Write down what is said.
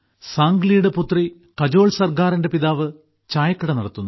സാംഗ്ലിയുടെ പുത്രി കജോൾ സർഗാറിന്റെ പിതാവ് ചായക്കട നടത്തുന്നു